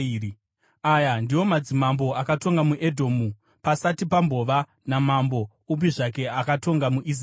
Aya ndiwo madzimambo akatonga muEdhomu pasati pambova namambo upi zvake akatonga muIsraeri: